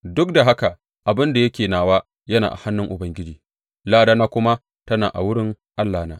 Duk da haka abin da yake nawa yana a hannun Ubangiji, ladana kuma tana a wurin Allahna.